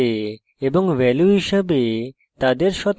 এবং value হিসাবে তাদের শতাংশ